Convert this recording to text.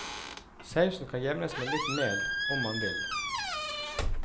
Sausen kan jevnes med litt mel om man vil.